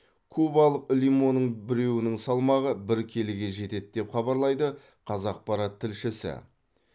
кубалық лимонның біреуінің салмағы бір келіге жетеді деп хабарлайды қазақпарат тілшісі